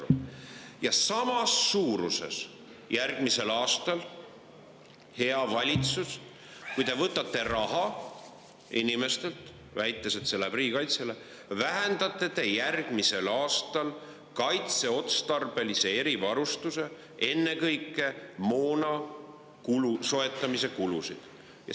Hea valitsus, samas suuruses, kui te võtate inimestelt järgmisel aastal raha, väites, et see läheb riigikaitsele, vähendate te kaitseotstarbelise erivarustuse, ennekõike moona soetamise kulusid.